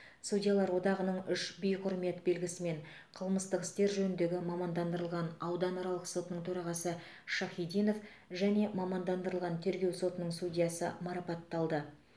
судьялар одағының үш би құрмет белгісімен қылмыстық істер жөніндегі мамандандырылған ауданаралық сотының төрағасы шахидинов және мамандандырылған тергеу сотының судьясы марапатталды